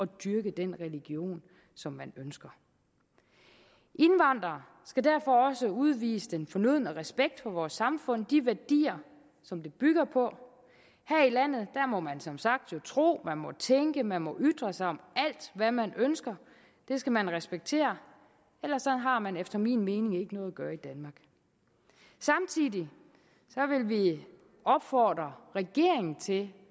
dyrke den religion som man ønsker indvandrere skal derfor også udvise den fornødne respekt for vores samfund de værdier som det bygger på her i landet må man som sagt tro man må tænke man må ytre sig om alt hvad man ønsker det skal man respektere ellers har man efter min mening ikke noget at gøre i danmark samtidig vil vi opfordre regeringen til